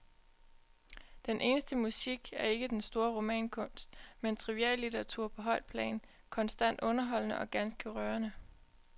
Den eneste musik er ikke den store romankunst, men triviallitteratur på højt plan, konstant underholdende og ganske rørende.